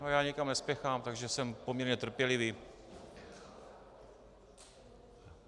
No já nikam nespěchám, takže jsem poměrně trpělivý...